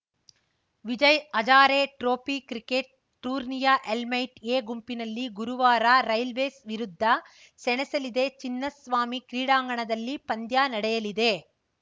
Vijay Hazare trophy cricket ಟೂರ್ನಿಯ elite A ಗುಂಪಿನಲ್ಲಿ ಗುರುವಾರ ರೈಲ್ವೇಸ್‌ ವಿರುದ್ಧ ಸೆಣಸಲಿದೆ ಚಿನ್ನಸ್ವಾಮಿ ಕ್ರೀಡಾಂಗಣದಲ್ಲಿ ಪಂದ್ಯ ನಡೆಯಲಿದೆ